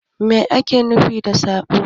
Mai ake nufi da saɓo?